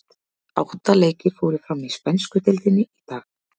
Átta leikir fóru fram í spænsku deildinni í dag.